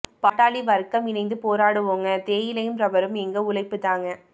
பாட்டாளி வர்க்கம் இணைந்து போராடுவோங்க தேயிலையும் ரப்பரும் எங்க ஒழைப்பு தாங்க